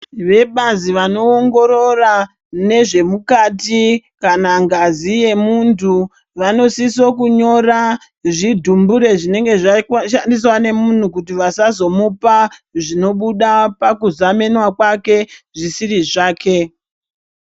Vebazi vanoongorora nezvemukati kana ngazi yemuntu vanosisa kunyora zvidhumbure zvinenge zvashandiswa nemunhu kuti vasazomuupa zvinobuda pakuzemenwa kwake zvisiri zvake.